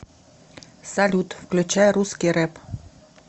салют включай русский рэп